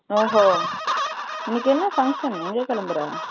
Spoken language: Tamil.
ஒ ஓ இன்னைக்கு என்ன function எங்க கெளம்புற